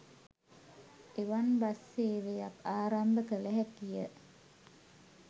එවන් බස් සේවයක් ආරම්භ කළ හැකිය